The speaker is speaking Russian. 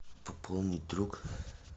пополнить друг